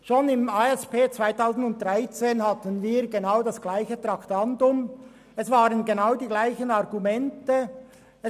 Schon in der ASP 2014 hatten wir genau dieses Traktandum, und es wurden genau dieselben Argumente vorgebracht.